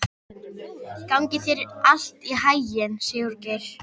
Gangi þér allt í haginn, Sigurgeir.